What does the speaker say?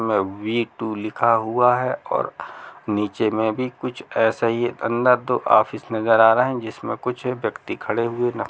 में वी-टू लिखा हुआ है और नीचे में भी कुछ ऐसा ही है अंदर दो ऑफिस नजर आ रहें हैं जिसमें कुछ व्यक्ति खड़े हुए न --